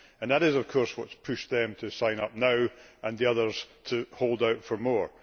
That is, of course, what has pushed them to sign up now and the others to hold out for more.